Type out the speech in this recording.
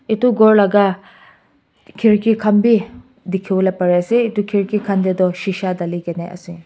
etu gour laga khirki khan bhi dekhi bole Pari se etu khirki khan te tu seasha Dale kina ase.